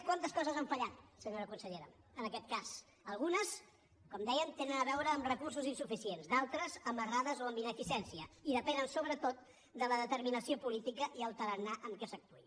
quantes coses han fallat senyora consellera en aquest cas algunes com dèiem tenen a veure amb recursos insuficients d’altres amb errades o amb ineficiència i depenen sobretot de la determinació política i el tarannà amb què s’actuï